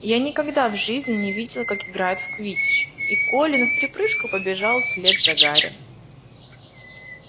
я никогда в жизни не видел как играют в квиддич и колин вприпрыжку побежал вслед за гарри